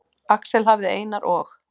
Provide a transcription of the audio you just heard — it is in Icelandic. Axel hafði Einar og